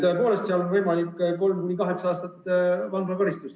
Selle teo eest on võimalik määrata 3–8 aastat vanglakaristust.